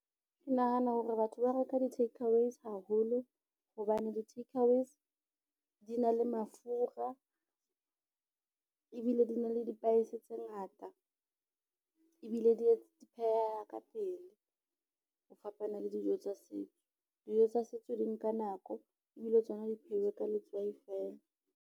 Ke nahana hore batho ba reka di-takeaways haholo hobane di-takeaways di na le mafura, ebile di na le di-spice tse ngata ebile di pheheha ka pele. Ho fapana le dijo tsa setso, dijo tsa setso di nka nako ebile tsona di pheuwa ka letswai fela.